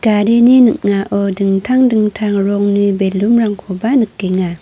garini ning·ao dingtang dingtang rongni balloon-rangkoba nikenga.